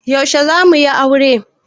Yaushe za suyi aure?